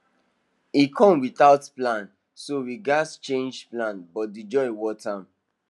e come without plan so we gatz change plans but the joy worth am